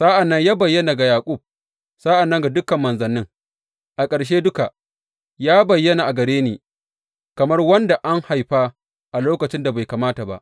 Sa’an nan ya bayyana ga Yaƙub, sa’an nan ga dukan manzannin, a ƙarshe duka, ya bayyana a gare ni, kamar wanda an haifa a lokacin da bai kamata ba.